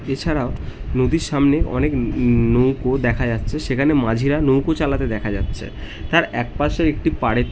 এছাড়া ও নদীর সামনে অনেক ন ন নৌকো দেখা যাচ্ছে সেখানে মাঝিরা নৌকো চালাতে দেখা যাচ্ছে এক পাশে একটি পারে --